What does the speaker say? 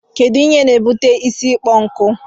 Kedu Ihe n'ebuta isi ịkpọ nku?